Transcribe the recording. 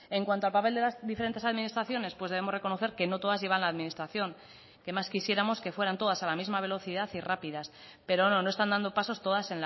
en cuanto al papel de las diferentes administraciones pues debemos reconocer que no todas llevan la administración qué más quisiéramos que fueran todas a la misma velocidad y rápidas pero no no están dando pasos todas